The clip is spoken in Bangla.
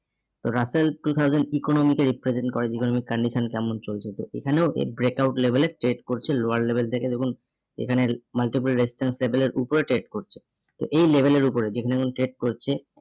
তো russell two thousand economic এর represent করে economic condition কেমন চলছে, তো এখানেও এর break out level এ trade করছে lower level থেকে দেখুন এখানে multiple restaurant level এর উপরে trade করছে। তো এই level এর উপরে যেখানে যেমন trade করছে